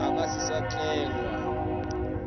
e ka se sa tlengwa